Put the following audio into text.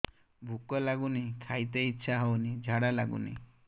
ଭୁକ ଲାଗୁନି ଖାଇତେ ଇଛା ହଉନି ଝାଡ଼ା ଲାଗୁନି